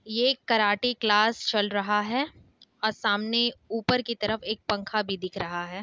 ये एक karate class चला रहा है और सामने ऊपर की तरफ एक पंखा भी दिख रहा है।